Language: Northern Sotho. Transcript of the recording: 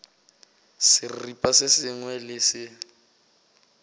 seripa se sengwe le se